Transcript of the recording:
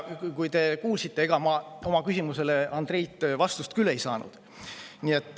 Te kuulsite, et ega ma oma küsimusele Andreilt vastust küll ei saanud.